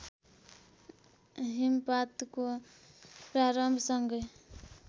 हिमपातको प्रारम्भसँगै